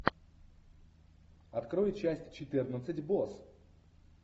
открой часть четырнадцать босс